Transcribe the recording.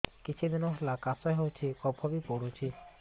କିଛି ଦିନହେଲା କାଶ ହେଉଛି କଫ ବି ପଡୁଛି